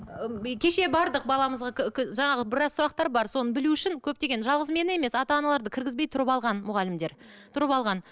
кеше бардық баламызға жаңағы біраз сұрақтар бар соны білу үшін көптеген жалғыз мен емес ата аналарды кіргізбей тұрып алған мұғалімдер тұрып алған